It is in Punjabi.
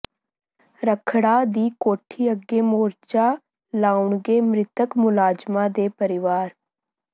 ਰੱਖਡ਼ਾ ਦੀ ਕੋਠੀ ਅੱਗੇ ਮੋਰਚਾ ਲਾਉਣਗੇ ਮ੍ਰਿਤਕ ਮੁਲਾਜ਼ਮਾਂ ਦੇ ਪਰਿਵਾਰ